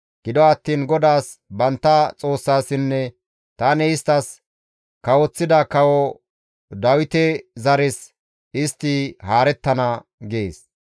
Gido attiin GODAAS bantta Xoossassinne tani isttas kawoththida kawo Dawite zares istti haarettana» gees.